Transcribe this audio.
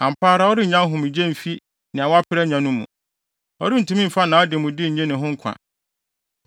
“Ampa ara ɔrennya ahomegye mfi nea wapere anya no mu; ɔrentumi mfa nʼademude nnye ne ho nkwa.